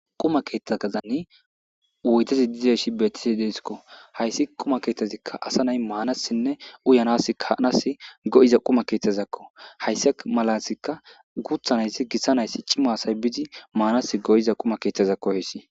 Quma keeththaazani woytezi dizeshi beettisi deesikko hayssi quma keeththezikka asa nay maanasinne uyanaska hanas go'iza quma keeththazakko hayssi malasikka guthanayssi gissa nayssi cimo asay bizi maanas go'iza quma keeththazakko hoyssi